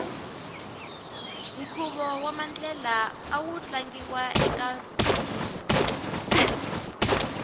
nkhuvo wamandlela amu tlangiwa ekafilimu